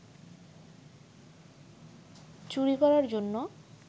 চুরি করার জন্য